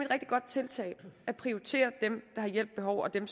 rigtig godt tiltag at prioritere dem der har hjælp behov og dem